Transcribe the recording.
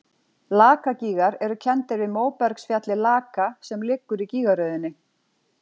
Lakagígar eru kenndir við móbergsfjallið Laka sem liggur í gígaröðinni.